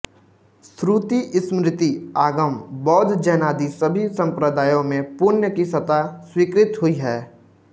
श्रुति स्मृति आगम बौद्ध जैनादि सभी संप्रदायों में पुण्य की सत्ता स्वीकृत हुई है